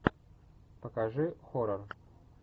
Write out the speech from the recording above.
покажи хоррор